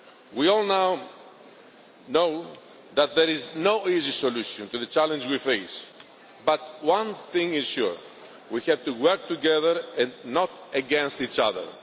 We all know that there is no easy solution to the challenge we face, but one thing is sure we have to work together and not against each